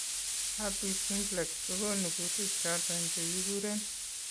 Herpes simplex kogonu kutik choton chekekuren